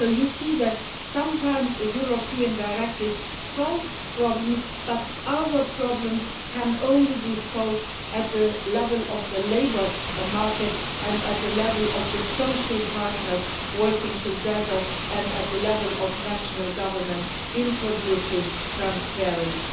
So you can see that, while sometimes a European directive solves problems, other problems can only be solved at the level of the labour market, at the level of the social partners working together and at the level of national governments introducing transparency